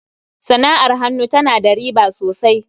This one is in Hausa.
sana'ar hannu ta na da riba sosai.